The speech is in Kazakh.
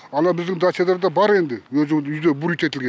ана біздің дачаларда бар енді өзі үйде бурид етілген